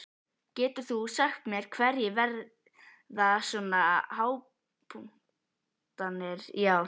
Getur þú sagt mér hverjir verða svona hápunktarnir í ár?